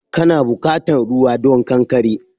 Kana bukatan ruwa don ƙanƙare?